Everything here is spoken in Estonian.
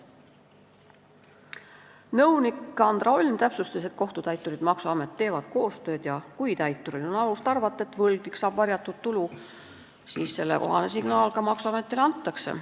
Nõunik Andra Olm täpsustas, et kohtutäiturid ja maksuamet teevad koostööd ning kui täituril on alust arvata, et võlgnik saab varjatud tulu, siis sellekohane signaal ka maksuametile antakse.